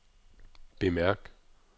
bemærk